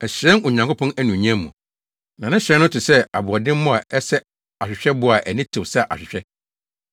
Ɛhyerɛn Onyankopɔn anuonyam mu, na ne hyerɛn no te sɛ aboɔdemmo a ɛsɛ ahwehwɛbo a ani tew sɛ ahwehwɛ.